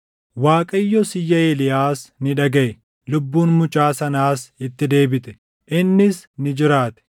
Waaqayyos iyya Eeliyaas ni dhagaʼe; lubbuun mucaa sanaas itti deebite; innis ni jiraate.